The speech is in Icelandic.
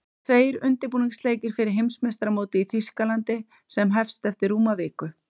Tveir undirbúningsleikir fyrir Heimsmeistaramótið í Þýskalandi sem hest eftir rúma viku.